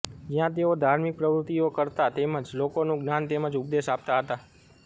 જયાં તેઓ ધાર્મિક પ્રવૃત્તિઓ કરતા તેમજ લોકોને જ્ઞાન તેમજ ઉપદેશ આપતા હતા